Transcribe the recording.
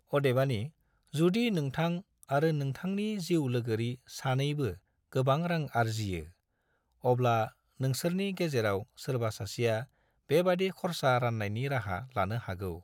अदेबानि, जुदि नोंथां आरो नोंथांनि जिउ लोगोरि सानैबो गोबां रां आर्जियो, अब्ला नोंसोरनि गेजेराव सोरबा सासेआ बेबादि खरसा रान्नायनि राहा लानो हागौ।